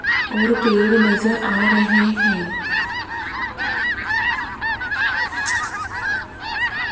और पेड़ नजर आ रहे हैं।